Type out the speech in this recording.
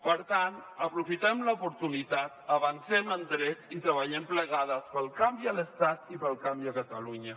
per tant aprofitem l’oportunitat avancem en drets i treballem plegades pel canvi a l’estat i pel canvi a catalunya